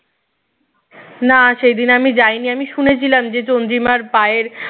না সেইদিন আমি যাইনি আমি শুনেছিলাম যে চন্দ্রিমার পায়ের